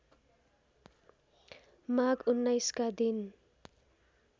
माघ १९ का दिन